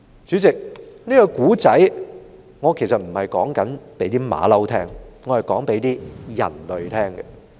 主席，這個故事，我其實不是說給猴子聽的，而是說給人類聽的。